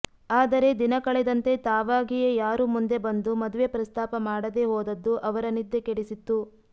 ಆದರೆ ದಿನಕಳೆದಂತೆ ತಾವಾಗಿಯೇ ಯಾರೂ ಮುಂದೆ ಬಂದು ಮದುವೆ ಪ್ರಸ್ತಾಪ ಮಾಡದೇ ಹೋದದ್ದು ಅವರ ನಿದ್ದೆ ಕೆಡಿಸಿತ್ತು